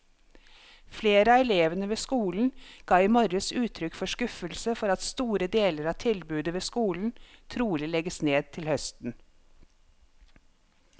Flere av elevene ved skolen ga i morges uttrykk for skuffelse for at store deler av tilbudet ved skolen trolig legges ned til høsten.